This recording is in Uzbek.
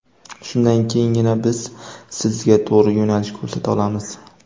Shundan keyingina biz sizga to‘g‘ri yo‘nalish ko‘rsata olamiz.